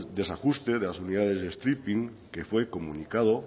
desajuste de las unidades de stripping que fue comunicado